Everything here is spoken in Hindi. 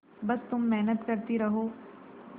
बस तुम मेहनत करती रहो